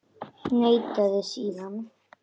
Neitaði síðan.